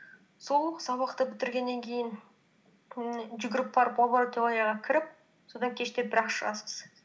сол сабақты бітіргеннен кейін ммм жүгіріп барып лабораторияға кіріп содан кеште бірақ шығасыз